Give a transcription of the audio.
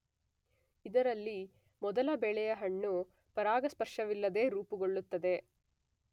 ಇದರಲ್ಲಿ ಮೊದಲ ಬೆಳೆಯ ಹಣ್ಣು ಪರಾಗಸ್ಪರ್ಶವಿಲ್ಲದೆ ರೂಪುಗೊಳ್ಳುತ್ತದೆ.